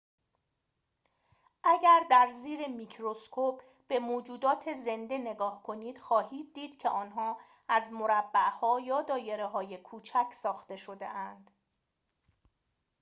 اگر در زیر میکروسکوپ به موجودات زنده نگاه کنید خواهید دید که آنها از مربع‌ها یا دایره‌های کوچک ساخته شده‌اند